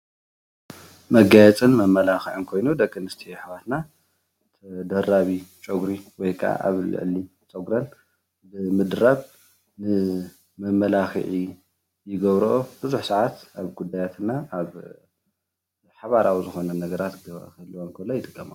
መጋየፅን መመላኽዕን ኮይኑ ደቅኣንስትዬ ኣሕዋትና ተደራቢ ፀጉሪ ወይ ከዓ ኣብ ልዕሊ ፀጉረን ብምድራብ መመላኽዒ ይገብሮኦ ቡዙሕ ሰዓት ኣብ ጉዳያት እና ኣብ ሓባራዊ ዝኾኑ ነገራት ክህልወን ከሎ ይጥቀማ